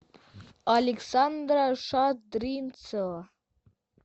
александра шадринцева